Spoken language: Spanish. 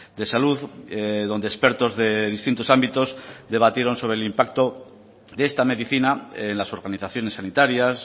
de salud donde expertos de distintos ámbitos debatieron sobre el impacto de esta medicina en las organizaciones sanitarias